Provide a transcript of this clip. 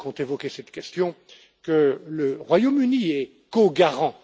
Brok ont évoqué cette question que le Royaume Uni est co garant.